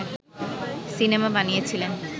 cinema বানিয়েছিলেন